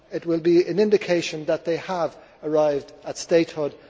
It will be an indication that they have arrived at statehood.